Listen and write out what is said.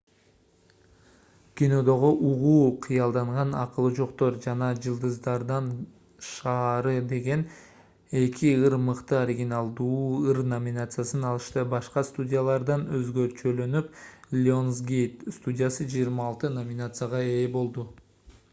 кинодогу угуу кыялданган акылы жоктор жана жылдыздардын шаары деген эки ыр мыкты оригиналдуу ыр номинациясын алышты. башка студиялардан өзгөчөлөнүп lionsgate студиясы 26 номинацияга ээ болду